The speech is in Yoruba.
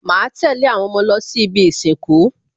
Màá tẹ̀lé àwọn ọmọ lọ sí ibi ìsìnkú